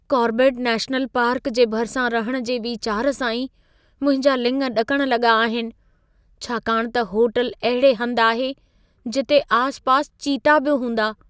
Corbett national park जे भरिसां रहण जे विचार सां ई मुंहिंजा लिङ ॾकण लॻा आहिनि। छाकाणि त होटल अहिड़े हंध आहे, जिते आसपास चीता बि हूंदा।